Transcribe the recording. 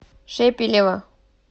шепелева